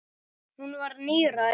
Hún var níræð.